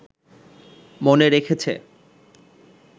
মনে রেখেছে